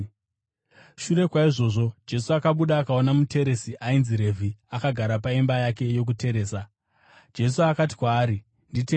Shure kwaizvozvo, Jesu akabuda akaona muteresi ainzi Revhi akagara paimba yake yokuteresa. Jesu akati kwaari, “Nditevere.”